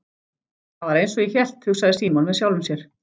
Það var einsog ég hélt, hugsaði Símon með sjálfum sér.